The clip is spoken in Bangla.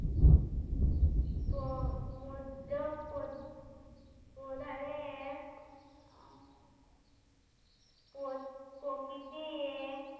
মধ্য প্র~ প্রধানের পোত্ প্রকৃতি